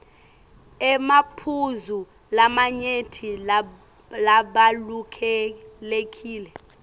emaphuzu lamanyenti labalulekile